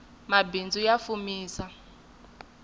mbaindzu ya fumisa